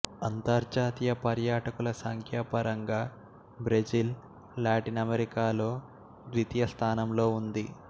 అంతర్జాతీయ పర్యాటకులసంఖ్యాపరంగా Brazil Latin అమెరికాలో ద్వితీయ స్థానంలో ఉంది